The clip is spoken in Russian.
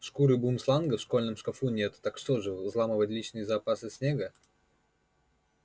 шкуры бумсланга в школьном шкафу нет так что же взламывать личные запасы снегга